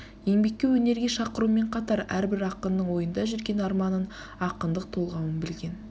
еңбекке өнерге шақырумен қатар әрбір ақынның ойында жүрген арманын ақындық толғауын білген